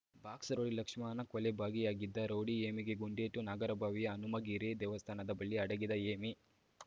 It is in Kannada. ಬಾಕ್ಸ್ ರೌಡಿ ಲಕ್ಷ್ಮಣನ ಕೊಲೆಯಲ್ಲಿ ಭಾಗಿಯಾಗಿದ್ದ ರೌಡಿ ಹೇಮಿಗೆ ಗುಂಡೇಟು ನಾಗರಬಾವಿಯ ಹನುಮಗಿರಿ ದೇವಸ್ಥಾನದ ಬಳಿ ಅಡಗಿದ್ದ ಹೇಮಿ